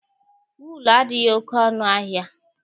Wuulu adịghị oke ọnụ ahịa.